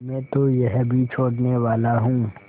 मैं तो यह भी छोड़नेवाला हूँ